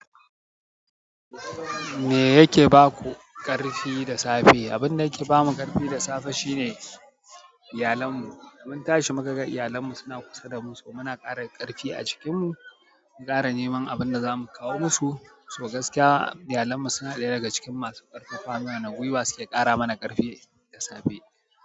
Me yake ba ku ƙarfi da safe? Abin da yake ba mu ƙarfi da safe shine iyalan mu. Mun tashi muka ga iyalan mu suna kusa da mu, so muna ƙara ƙarfi a jikin mu, mu ƙara neman abin da za mu kawo musu, so gaskiya iyalan mu suna ɗaya daga cikin masu ƙarfafa muna gwiwa su ke ƙara mana ƙarfi da safe.